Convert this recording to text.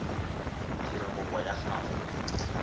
o dira kopo ya gago